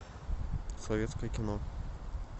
советское кино